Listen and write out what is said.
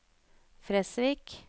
Fresvik